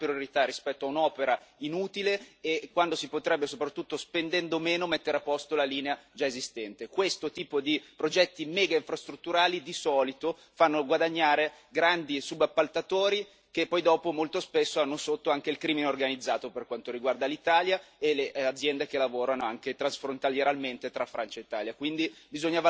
Io credo che ci siano altre priorità rispetto a quest'opera inutile, quando si potrebbe soprattutto, spendendo meno, mettere a posto la linea già esistente. Questo tipo di progetti megainfrastrutturali di solito fanno guadagnare i grandi subappaltatori che poi dopo, molto spesso, hanno sotto anche il crimine organizzato, per quanto riguarda l'Italia, e le aziende che lavorano, anche transfrontalieramente, tra Francia e Italia.